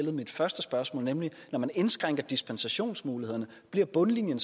i mit første spørgsmål nemlig når man indskrænker dispensationsmulighederne at bundlinjen